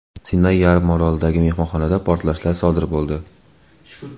Sinay yarim orolidagi mehmonxonada portlashlar sodir bo‘ldi.